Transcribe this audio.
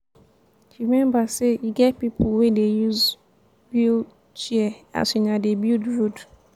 rememba sey e get pipo wey dey use wheel-chair as una dey build road.